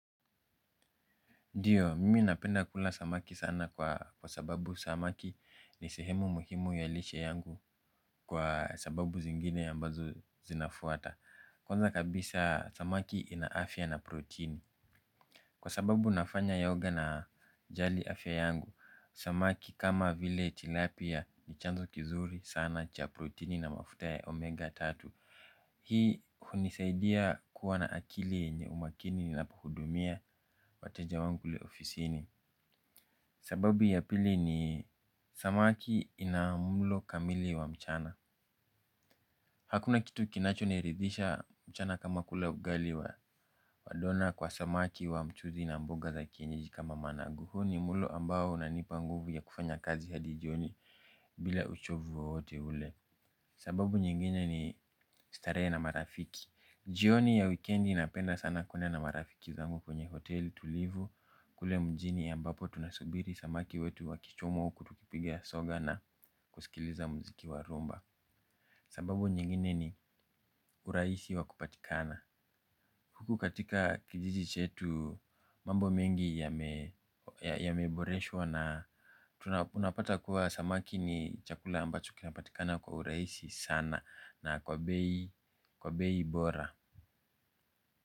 Ndiyo, mimi napenda kula samaki sana kwa sababu samaki ni sehemu muhimu ya lishe yangu kwa sababu zingine ambazo zinafuata. Kwanza kabisa samaki inaafia na protini. Kwa sababu nafanya yoga najali afia yangu, samaki kama vile tilapia ni chanzo kizuri sana cha protini na mafuta ya omega tatu. Hii hunisaidia kuwa na akili yenye umakini ninapo hudumia wateja wangu kule ofisini. Sababu ya pili ni samaki ina mulo kamili wa mchana. Hakuna kitu kinacho niridhisha mchana kama kula ugali wa dona kwa samaki wa mchuzi na mboga za kienyeji kama managu hu ni mulo ambao unanipa nguvu ya kufanya kazi hadi jioni bila uchovu wowote ule. Sababu nyinginye ni staree na marafiki. Jioni ya weekendi napenda sana kuenda marafiki zangu kwenye hoteli tulivu. Kule mjini ambapo tunasubiri samaki wetu wakichomwa huku tukipiga soga na kusikiliza mziki wa rhumba. Sababu nyingine ni uraisi wa kupatikana. Huku katika kijiji chetu mambo mengi yameboreshwa. Na tunapata kuwa samaki ni chakula ambacho kinapatikana kwa uraisi sana. Na kwa beii bora.